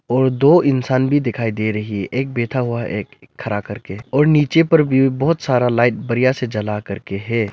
और दो इंसान भी दिखाई दे रही है एक बैठा हुआ एक खड़ा करके और नीचे पर भी बहोत सारा लाइट बढ़िया से चला करके है।